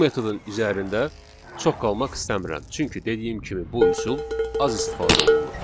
Bu metodun üzərində çox qalmaq istəmirəm, çünki dediyim kimi bu üsul az istifadə olunur.